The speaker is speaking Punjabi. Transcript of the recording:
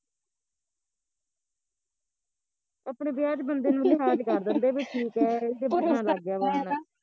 ਅਪਣੇ ਵਿਆਹ ਚ ਬੰਦੇ ਨੂ ਲਿਹਾਜ ਕਰ ਦਿੰਦੇ ਵੀ ਠੀਕ ਐ ਇਹਦੇ ਬਟਨਾਂ ਲੱਗ ਗਿਆ ਵਾ ਹੁਣ